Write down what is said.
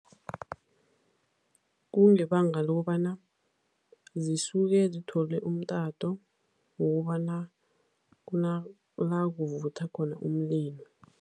Kungebanga lokobana zisuke zithole umtato wokobana kunala kuvutha khona umlilo.